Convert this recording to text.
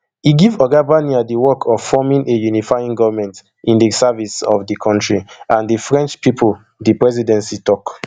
e give oga barnier di work of forming a unifying goment in di service of di kontri and di french pipo di presidency tok